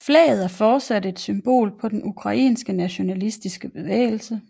Flaget er fortsat et symbol på den ukrainske nationalistiske bevægelse